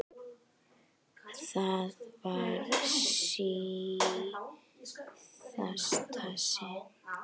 Það var í síðasta sinn.